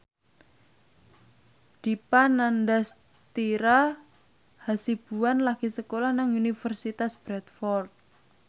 Dipa Nandastyra Hasibuan lagi sekolah nang Universitas Bradford